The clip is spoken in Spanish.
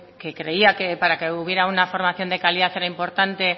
que creía que para que hubiera una formación de calidad era importante